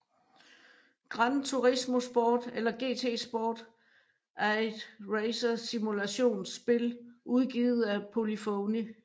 Gran Turismo Sport eller GT Sport er et racersimulationsspil udgivet af Polyphony